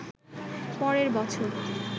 পরের বছর